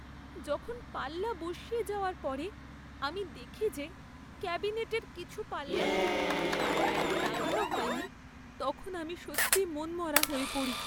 যখন পাল্লা বসিয়ে যাওয়ার পরে আমি দেখি যে ক্যাবিনেটের কিছু পাল্লা ঠিকভাবে সারি বেঁধে লাগানো হয়নি, তখন আমি সত্যিই মনমরা হয়ে পড়ি।